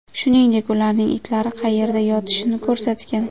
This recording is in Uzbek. Shuningdek, ularning itlari qayerda yotishini ko‘rsatgan.